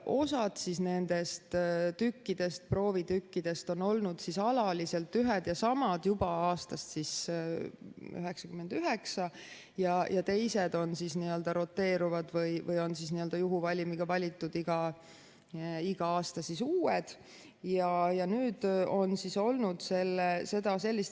Osa nendest proovitükkidest on olnud alaliselt ühed ja samad juba aastast 1999 ja teised on roteeruvad või juhuvalimiga valitud igal aastal uued.